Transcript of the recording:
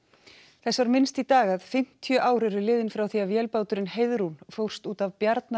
þess var minnst í dag að fimmtíu ár eru liðin frá því að vélbáturinn Heiðrún vo fórst út af